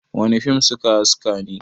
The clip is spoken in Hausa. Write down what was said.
wane fim suka haske ne!?